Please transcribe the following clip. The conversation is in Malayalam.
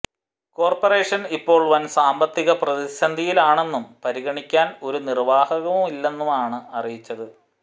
കോർപ്പറേഷൻ ഇപ്പോൾ വൻ സാമ്പത്തിക പ്രതിസന്ധിയിലാണെന്നും പരിഗണിക്കാൻ ഒരു നിർവാഹവുമില്ലെന്നുമാണ് അറിയിച്ചത്